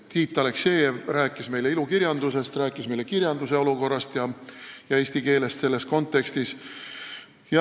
Tiit Aleksejev rääkis meile ilukirjandusest, rääkis meile kirjanduse olukorrast ja eesti keelest selles kontekstis.